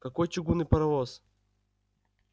какой чугунный паровоз